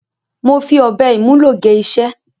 Mo fi ọ̀bẹ ìmúlò gé iṣẹ́.